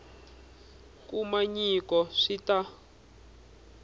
kuma nyiko swi ta n